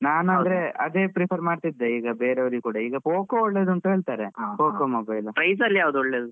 Price ಅಲ್ಲಿ ಯಾವ್ದು ಒಳ್ಳೆ ಉಂಟು?